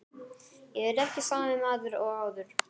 Ég er ekki sami maður og áður.